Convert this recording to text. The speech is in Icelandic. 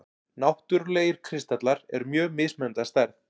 Náttúrlegir kristallar eru mjög mismunandi að stærð.